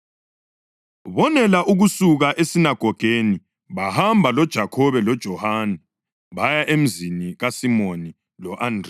Bonela ukusuka esinagogeni bahamba loJakhobe loJohane baya emzini kaSimoni lo-Andreya.